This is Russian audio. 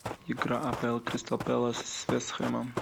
игра апл кристал пэлас с вест хэмом